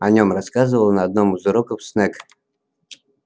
о нём рассказывал на одном из уроков снегг